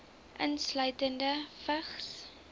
insluitende vigs